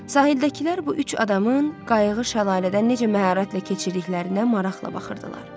Sahildəkilər bu üç adamın qayıqı şəlalədən necə məharətlə keçirdiklərindən maraqla baxırdılar.